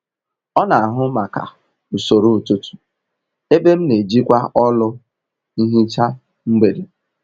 Ọ n'ahụ maka usoro ụtụtụ, ebe m n'ejikwa ọlụ nhicha mgbede